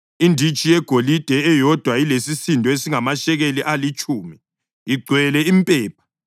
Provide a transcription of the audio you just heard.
inditshi yegolide eyodwa elesisindo esingamashekeli alitshumi, igcwele impepha;